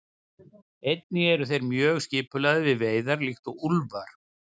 Einnig eru þeir mjög skipulagðir við veiðar líkt og úlfar.